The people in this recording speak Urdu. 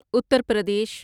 اتر پردیش